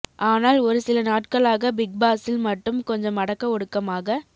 ஆனால் ஒரு சில நாட்களாக பிக் பாஸ்ஸில் மட்டும் கொஞ்சம் அடக்க ஒடுக்கமாக